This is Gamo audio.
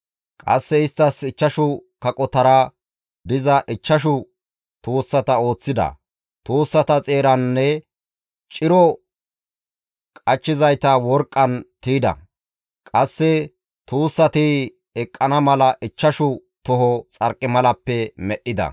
Qasse isttas ichchashu kaqotara diza ichchashu tuussata ooththida. Tuussata xeeraanne ciro qachchizayta worqqan tiyda. Qasse tuussati eqqana mala ichchashu toho xarqimalappe medhdhida.